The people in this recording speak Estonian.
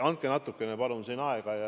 Andke siin natukene palun aega.